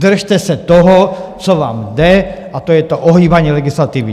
Držte se toho, co vám jde, a to je to ohýbání legislativy!